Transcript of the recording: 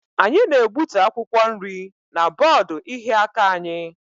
Anyị na-egbutu akwụkwọ nri na bọọdụ ịhịa aka anyị.